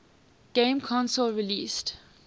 game console released